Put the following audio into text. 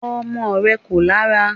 Ọmọ rẹ̀ kò lára